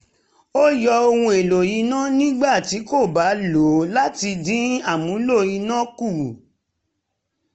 ó yọ ohun èlò iná nígbà tí kò bá lò láti dín amúlò iná kù